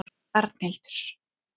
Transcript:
Arnhildur